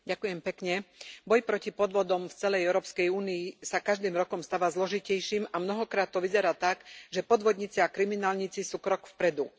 Vážený pán predsedajúci, boj proti podvodom v celej Európskej únii sa každým rokom stáva zložitejším a mnohokrát to vyzerá tak, že podvodníci a kriminálnici sú krok vpredu.